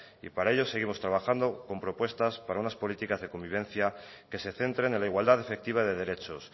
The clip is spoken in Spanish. y para ello seguimos trabajando con propuestas para unas políticas de convivencia que se centren en la igualdad efectiva de derechos